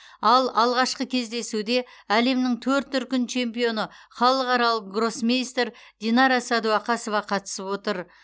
ал алғашқы кездесуде әлемнің төрт дүркін чемпионы халықаралық гроссмейстер динара сәдуақасова қатысып отыр